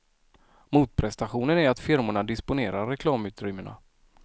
Motprestationen är att firmorna disponerar reklamutrymmena.